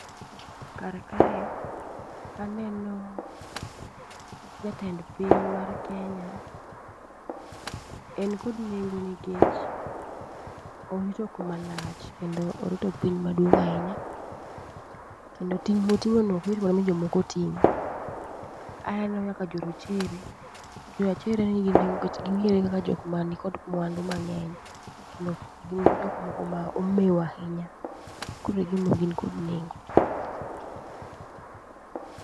Karkae, aneno jatend piny mar Kenya. En kod nengo nekech orito kuma lach, kenmdo orito piny maduong' ahinya. Kendo ting' moting'o no ok yot mondo mi jomoko ting', aneno nyaka jo rochere. Jo rachere nigi nengo nikech ging'ere kaka jokk ma ni kod mwandu mang'eny. Kendo gin jok moko ma omeo ahinya, koroegin gin kod nengo gi.